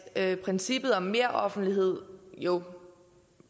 at princippet om meroffentlighed jo